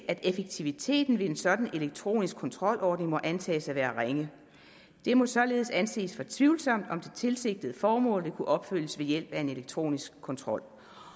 at effektiviteten ved en sådan elektronisk kontrolordning må antages at være ringe det må således anses for tvivlsomt om det tilsigtede formål vil kunne opfyldes ved hjælp af en elektronisk kontrol